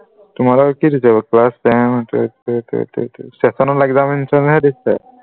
তোমালোকৰ কি দিছে class seasonal examination হে দিছে